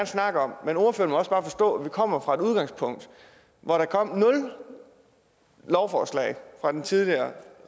snakke om men ordføreren må også bare forstå at vi kommer fra et udgangspunkt hvor der kom nul lovforslag fra den tidligere